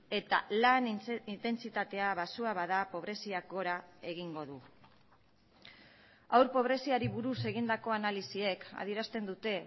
eta lan intentsitatea baxua bada pobreziak gora egingo du haur pobreziari buruz egindako analisiek adierazten dute